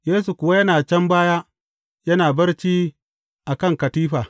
Yesu kuwa yana can baya, yana barci a kan katifa.